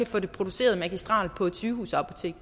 få det produceret magistrelt på et sygehusapotek